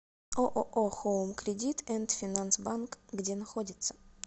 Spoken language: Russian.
ооо хоум кредит энд финанс банк где находится